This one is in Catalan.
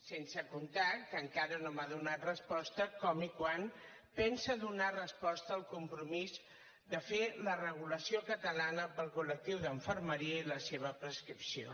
sense comptar que encara no m’ha donat resposta a com i quan pensa donar resposta al compromís de fer la regulació catalana per al col·lectiu d’infermeria i la seva prescripció